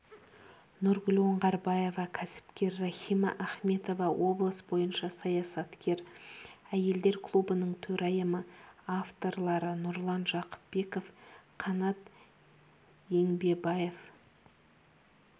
нұргүл оңғарбаева кәсіпкер рахима ахметова облыс бойынша саясаткер әйелдер клубының төрайымы авторлары нұрлан жақыпбеков қанат еңбсеабев